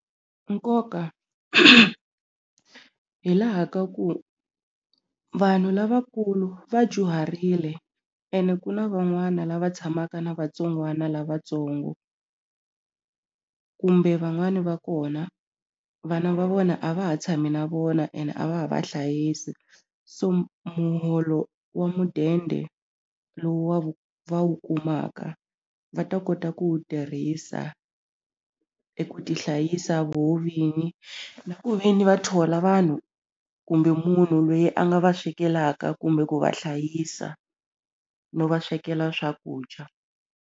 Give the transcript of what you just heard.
Nkoka hi laha ka ku vanhu lavakulu va dyuharile ene ku na van'wana lava tshamaka na vatsongwana lavatsongo kumbe van'wani va kona vana va vona a va ha tshami na vona ene a va ha vahlayisi so muholo wa mudende lowu va wu va wu kumaka va ta kota ku wu tirhisa eku tihlayisa voho vini na ku ve ni va thola vanhu kumbe munhu loyi a nga va swekelaka kumbe ku va hlayisa no va swekela swakudya.